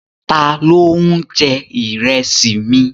Ta ló ń jẹ Ìrẹ́sì mi?